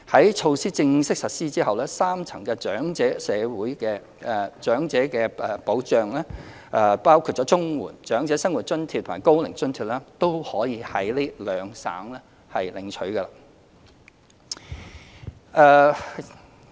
在措施正式實施後，三層長者社會保障，包括綜援、長者生活津貼及高齡津貼均可在兩省領取。